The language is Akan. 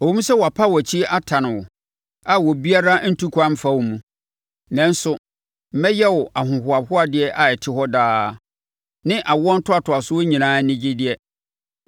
“Ɛwom sɛ wɔapa wʼakyi atane wo, a obiara ntu kwan mfa wo mu, nanso mɛyɛ wo ahohoahoadeɛ a ɛte hɔ daa ne awoɔ ntoatoasoɔ nyinaa anigyedeɛ.